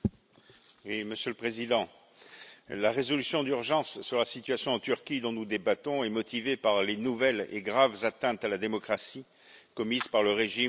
Monsieur le Président, la résolution d'urgence sur la situation en Turquie dont nous débattons est motivée par les nouvelles et graves atteintes à la démocratie, commises par le régime de M.